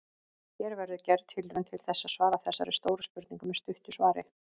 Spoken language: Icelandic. Hér verður gerð tilraun til þess að svara þessari stóru spurningu með stuttu svari.